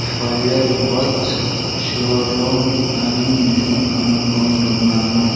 Fire works showroom అని నేను అనుకుంటున్నాను.